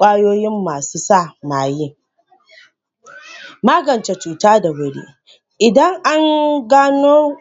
wajen inganta lafiyar bil adama.